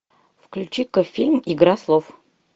включи ка фильм игра слов